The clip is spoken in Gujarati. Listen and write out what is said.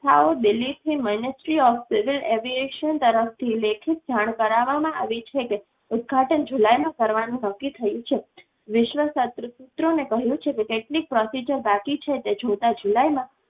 સાવ દિલ્હી થી ministry of civil aviation તરફ થી લેખિત જાણ કરાવવામાં આવી છે કે ઉદઘાટન જુલાઈમાં કરવાનું નક્કી થયું છે. વિશ્વ સત્ર સૂત્રોને કહ્યું છે કે technique procedure બાકી છે તે જોતાં જુલાઈ માં